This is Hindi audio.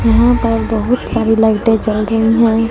यहां पर बहोत सारी लाइटें जल रही हैं।